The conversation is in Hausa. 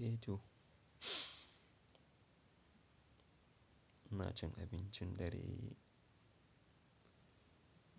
Eh to, ina cin abincin dare